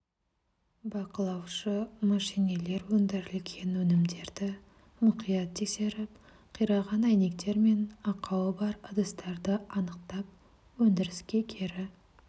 бақылаушы мәшинелер өндірілген өнімдерді мұқият тексеріп қираған әйнектер мен ақауы бар ыдыстарды анықтап өндіріске кері